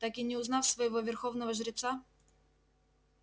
так и не узнав своего верховного жреца